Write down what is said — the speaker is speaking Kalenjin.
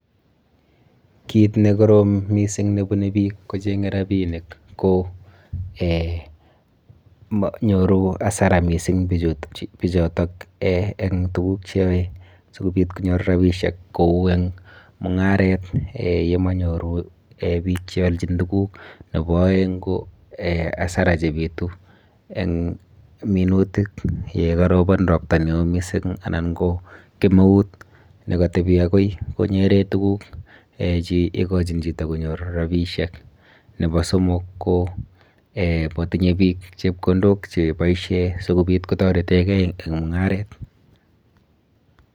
Kiit nekorom kot mising nebune biik kocheng'e rabinik ko nyoru asara kot mising bichotok en tukuk cheyoe sikobiit konyor rabishek kou eng mung'aret yemonyoru biik cheoljin tukuk, nebo oeng ko asara chebitu eng minutik yekorobon robta newoo mising anan ko kemeut nekotebi akoi kong'eten tukuk che ikochin chito konyor rabinishek, nebo somok ko motinye biik chepkondok cheboishen sikobiit kotoreteng'e en mung'aret.